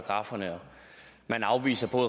har fundet på